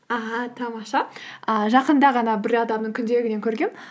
аха тамаша ііі жақында ғана бір адамның күнделігінен көргенмін